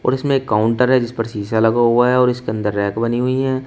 और इसमें एक काउंटर है जिस पर शीशा लगा हुआ है और इसके अंदर रैक बनी हुई है।